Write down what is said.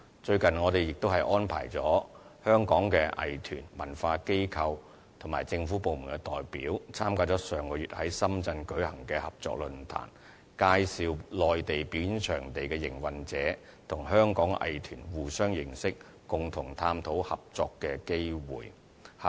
最近，我們亦安排了香港的藝團、文化機構和政府部門的代表參加上月在深圳舉行的合作論壇，介紹內地表演場地營運者予香港藝團，讓他們互相認識，共同探討合作機會。